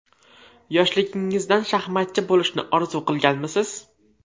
Yoshligingizdan shaxmatchi bo‘lishni orzu qilganmisiz?